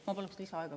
Ma palun lisaaega.